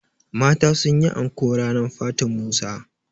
mata sun yi anko ranar fatin Musa